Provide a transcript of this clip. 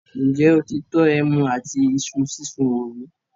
ǹjẹ́ o ti tọ́ “ẹmu àti Isu sísun” wò rí?